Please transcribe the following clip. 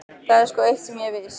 Það er sko eitt sem er víst.